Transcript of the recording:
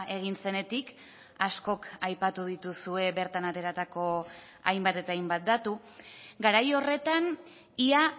egin zenetik askok aipatu dituzue bertan ateratako hainbat eta hainbat datu garai horretan ia